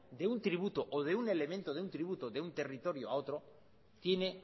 de un tributo o de un elemento de un tributo de un territorio a otro tiene